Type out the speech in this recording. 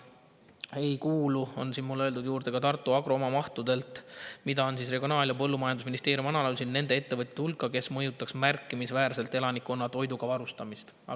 Aga Tartu Agro ei kuulu, on siin mulle öeldud, oma mahtudelt, mida Regionaal‑ ja Põllumajandusministeerium on analüüsinud, nende ettevõtete hulka, kes mõjutaks märkimisväärselt elanikkonna varustamist toiduga.